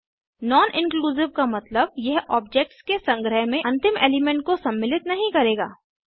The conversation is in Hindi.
नॉन इंक्लूसिव का मतलब यह ऑब्जेक्ट्स के संग्रह में अंतिम एलिमेंट को सम्मिलित नहीं करेगा